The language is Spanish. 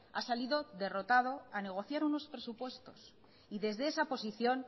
ha salido derrotado a negociar unos presupuestos y desde esa posición